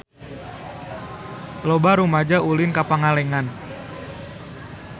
Loba rumaja ulin ka Pangalengan